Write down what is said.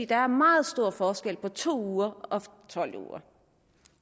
der er meget stor forskel på to uger og tolv uger